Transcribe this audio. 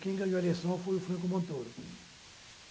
Quem ganhou a eleição foi o Franco Montoro.